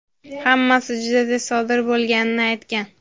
hammasi juda tez sodir bo‘lganini aytgan.